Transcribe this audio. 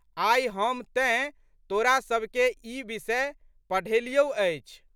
आइ हम तेँ तोरासबके ई विषय पढ़ेलियौ अछि।